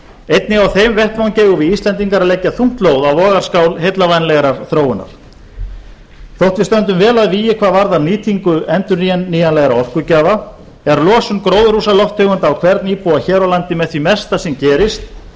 einnig á þeim vettvangi eigum íslendingar að leggja þungt lóð á vogarskál heillavænlegrar þróunar þótt við stöndum vel að vígi hvað varðar nýtingu endurnýjanlegra orkugjafa er losun gróðurhúsalofttegunda á hvern íbúa hér á landi með því mesta sem gerist